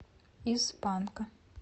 из панка